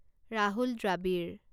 Rahul Dravid